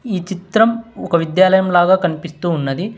ఈ చిత్రం ఒక విద్యాలయం లాగా కనిపిస్తూ ఉన్నది.